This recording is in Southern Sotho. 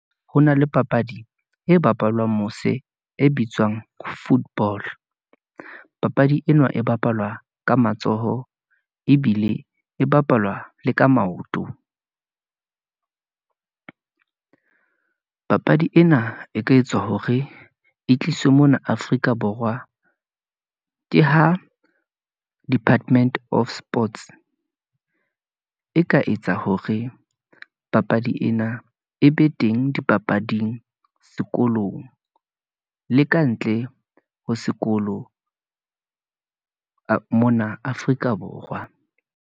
Ho na le papadi e bapalwang mose e bitswang football, papadi ena e bapalwa ka matsoho, ebile e bapalwa le ka maoto . Papadi ena e ka etswa hore e tliswe mona Afrika Borwa, ke ha department of sports , e ka etsa hore papadi ena, e be teng dipapading sekolong, le ka ntle ho sekolo mona Afrika Borwa.